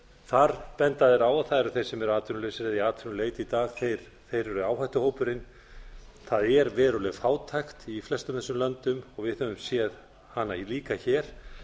þar benda þeir á að það eru þeir sem eru atvinnulausir eða í atvinnuleysi í dag sem eru áhættuhópurinn það er veruleg fátækt í flestum þessum löndum við höfum séð hana líka hér